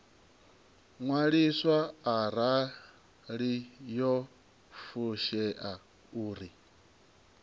ṅwaliswa arali yo fushea uri